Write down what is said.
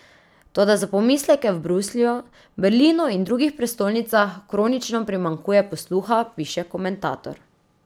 Toda za pomisleke v Bruslju, Berlinu in drugih prestolnicah kronično primanjkuje posluha, piše komentator.